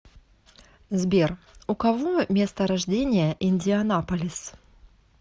сбер у кого место рождения индианаполис